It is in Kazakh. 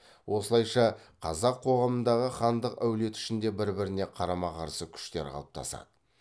осылайша қазақ қоғамындағы хандық әулет ішінде бір біріне қарама қарсы күштер қалыптасады